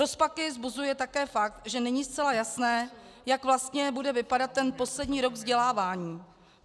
Rozpaky vzbuzuje také fakt, že není zcela jasné jak vlastně bude vypadat ten poslední rok vzdělávání.